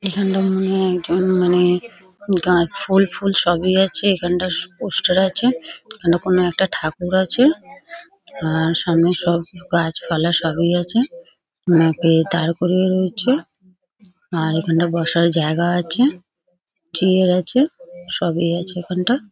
এখনটা মনে একজন মানে গাছ ফুল ফুল সবই আছে এখানটা স পোস্টার আছে এখানটা কোনো একটা ঠাকুর আছে আ-আ-র সামনের সব গাছপালা সব ই আছে ওনাকে তারপরে রয়েছে আর এখানটা বসার জায়গা আছে চেয়ার আছে সবই আছে এখানটা ।